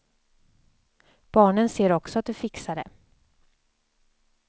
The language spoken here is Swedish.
Barnen ser också att du fixar det.